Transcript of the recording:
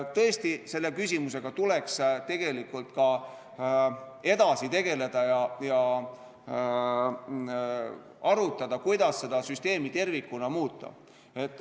Tõesti, selle küsimusega tuleks edasi tegeleda ja arutada, kuidas süsteemi tervikuna muuta.